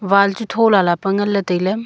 wall chu tho lala pe ngan ley tai ley.